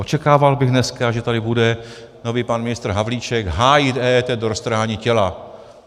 Očekával bych dneska, že tady bude nový pan ministr Havlíček hájit EET do roztrhání těla.